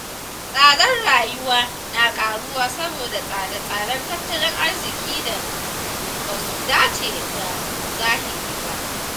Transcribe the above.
Tsadar rayuwa na ƙaruwa saboda tsare-tsaren tattalin arziƙin da ba su dace da zahiri ba.